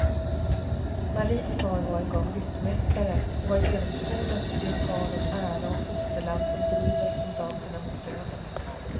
Maries far var en gång ryttmästare, och har genomskådat det tal om ära och fosterland som driver soldaterna mot döden.